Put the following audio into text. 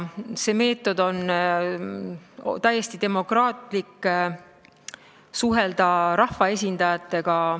See meetod on täiesti demokraatlik viis suhelda rahvaesindajatega.